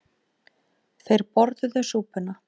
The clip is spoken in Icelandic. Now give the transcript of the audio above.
Þeir borðuðu súpuna.